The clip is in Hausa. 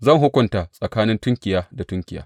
Zan hukunta tsakanin tunkiya da tunkiya.